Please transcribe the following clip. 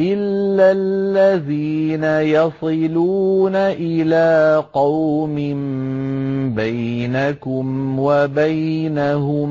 إِلَّا الَّذِينَ يَصِلُونَ إِلَىٰ قَوْمٍ بَيْنَكُمْ وَبَيْنَهُم